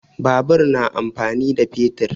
Babur na amfani da fetur